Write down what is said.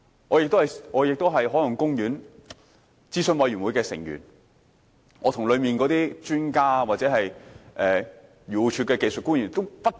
我亦是郊野公園及海岸公園委員會的成員，我跟委員會中的專家或漁農自然護理署的技術官員爭辯不斷。